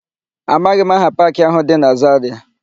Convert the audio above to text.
Amaghị m aha paakị áhụ̀ dị na Zarịa.